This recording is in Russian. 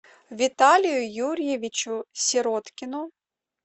виталию юрьевичу сироткину